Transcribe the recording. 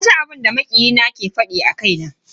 Naji abinda makiyi na ya fada a kaina.